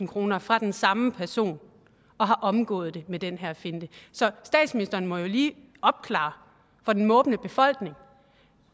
kroner fra den samme person og har omgået det med den her finte så statsministeren må jo lige opklare for den måbende befolkning